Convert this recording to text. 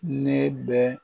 Ne bɛ